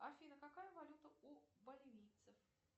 афина какая валюта у боливийцев